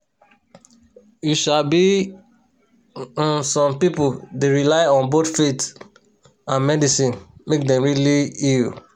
you sabi um some pipo dey rely on both faith and medicine make dem really heal